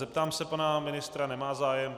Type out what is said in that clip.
Zeptám se pana ministra - nemá zájem.